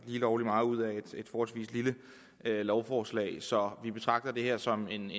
lovlig meget ud af et forholdsvis lille lovforslag så vi betragter det her som en